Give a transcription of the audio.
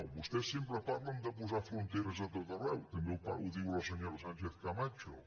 vostès sempre parlen de posar fronteres a tot arreu també ho diu la senyora sánchez camacho